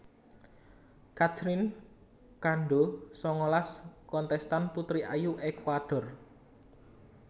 Catherine Cando sangalas kontèstan putri ayu Ékuador